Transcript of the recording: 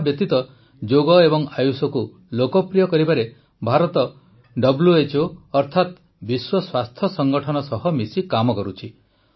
ଏହାବ୍ୟତୀତ ଯୋଗ ଓ ଆୟୁଷକୁ ଲୋକପ୍ରିୟ କରିବାରେ ଭାରତ ଡବ୍ଲୁ୍ୟଏଚ୍ଓ ଅର୍ଥାତ ବିଶ୍ୱ ସ୍ୱାସ୍ଥ୍ୟ ସଂଗଠନ ସହ ମିଶି କାମ କରୁଛି